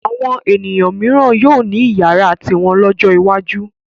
Àwọn ènìyàn mìíràn yóò ní ìyàrá tiwọn lọ́jọ́ iwájú.